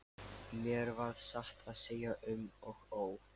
Mér varð satt að segja um og ó.